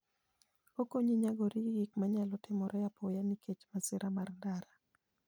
Okonyi nyagori gi gik manyalo timore apoya nikech masira mar ndara.